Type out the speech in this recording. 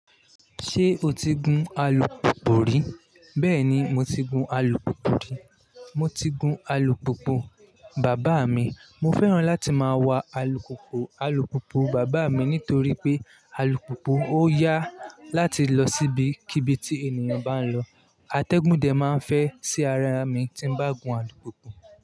Ṣé o ti gun alùpùpù rí? Bẹ́ẹ̀ni, mo ti gun alùpùpù rí. Mo ti gun alùpùpù bàbá mi. Mo fẹ́ràn láti máa wa alùpùpù alùpùpù bàbá mi nítorí pé alùpùpù ó yà láti lọ síbi kíbi tí ènìyàn bá ń lọ. Atẹ́gùn dẹ máa ń fẹ́ sí ara mi tí n bá gun alùpùpù.